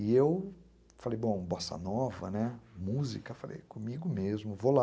E eu falei, bom, Bossa Nova, música, comigo mesmo, vou lá.